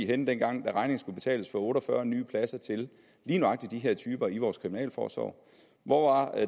henne dengang regningen skulle betales for otte og fyrre nye pladser til lige nøjagtig de her typer i vores kriminalforsorg hvor var